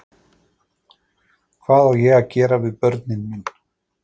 Hvað á ég að gera við börnin mín?